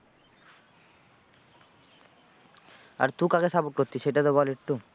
আর তুই কাকে support করতিস সেটা তো বল একটু।